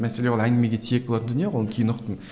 мәселе ол әңгімеге тиек болатын дүние ғой оны кейін ұқтым